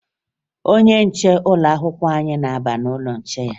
Onye nche ụlọakwụkwọ anyị na-aba n'ụlọ nche ya